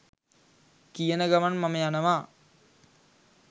කියන ගමන් මම යනවා